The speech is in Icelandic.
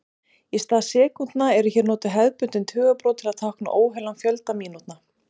Í stað sekúndna eru hér notuð hefðbundin tugabrot til að tákna óheilan fjölda mínútna.